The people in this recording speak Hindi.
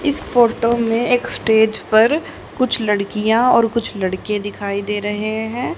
इस फोटो में एक स्टेज पर कुछ लड़कियां और कुछ लड़के दिखाई दे रहे हैं।